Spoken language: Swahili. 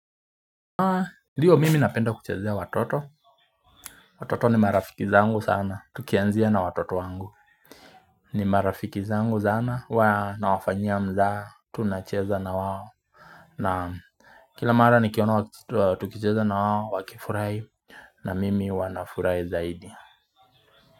Ndiyo mimi napenda kuchezea watoto Watoto ni marafiki zangu sana Tukianzia na watoto wangu ni marafiki zangu sana huwa nawafanyia mzaha tunacheza na wawo na kila mara nikiona tukicheza na wao wakifurai na mimi huwa nafurai zaidi.